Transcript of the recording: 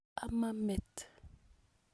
amaa met